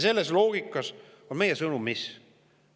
Selles loogikas on meie sõnum mis?